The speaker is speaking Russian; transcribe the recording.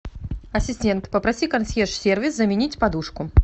ассистент попроси консьерж сервис заменить подушку